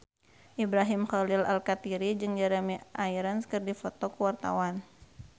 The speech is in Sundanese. Ibrahim Khalil Alkatiri jeung Jeremy Irons keur dipoto ku wartawan